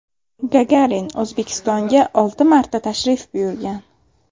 Gagarin O‘zbekistonga olti marta tashrif buyurgan.